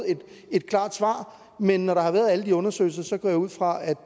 et klart svar men når der har været alle de undersøgelser går jeg ud fra at